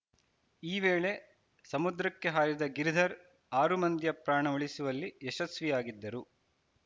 ಈ ವೇಳೆ ಸಮುದ್ರಕ್ಕೆ ಹಾರಿದ ಗಿರಿಧರ್‌ ಆರು ಮಂದಿಯ ಪ್ರಾಣ ಉಳಿಸುವಲ್ಲಿ ಯಶಸ್ವಿಯಾಗಿದ್ದರು